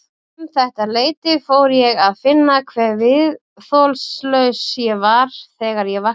Um þetta leyti fór ég að finna hve viðþolslaus ég var þegar ég vaknaði.